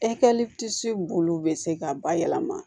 bolo bɛ se ka bayɛlɛma